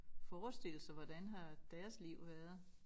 Forestille sig hvordan har deres liv været